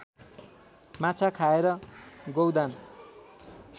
माछा खाएर गौदान